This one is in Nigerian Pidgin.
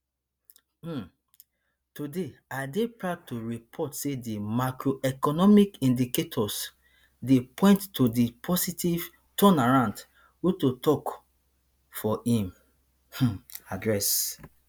um today i dey proud to report say di macroeconomic indicators dey point to a positive turnaround ruto tok for im um address